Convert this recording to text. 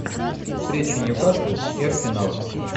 встреча ньюкасл и арсенал